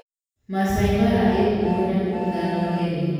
Masaai Mara ĩĩ ngumo nyamũ ithano nene.